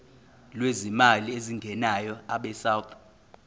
lwezimali ezingenayo abesouth